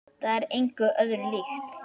Það er engu öðru líkt.